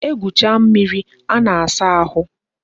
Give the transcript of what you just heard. E gwucha mmiri a na-asa ahụ